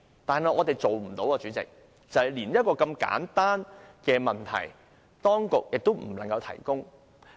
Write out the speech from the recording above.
但是，連我們一個如此簡單的問題，當局亦無法提供資料。